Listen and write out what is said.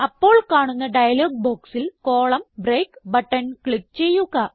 അപ്പോൾ കാണുന്ന ഡയലോഗ് ബോക്സിൽ കോളം ബ്രേക്ക് ബട്ടൺ ക്ലിക്ക് ചെയ്യുക